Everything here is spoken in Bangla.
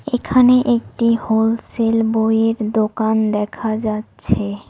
এখানে একটি হোলসেল বইয়ের দোকান দেখা যাচ্ছে।